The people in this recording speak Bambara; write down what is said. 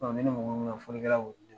Ne ni mɔgɔ folikɛla y'olu de ye